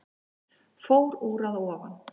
Fór úr að ofan